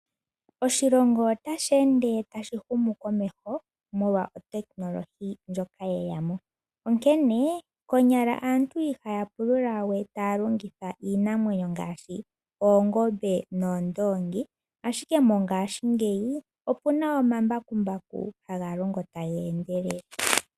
Oshilongo otashi ende tashi humu komeho molwa otekinolohi ndjoka ye ya mo. Onkene konyala aantu ihaya pulula we taya longitha iinamwenyo ngaashi oongombe noondoongi ashike mongaashingeyi opu na ombakumbaku haga longo taga endelele.